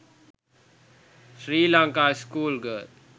sri lanka school girl